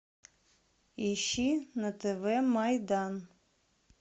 ищи на тв майдан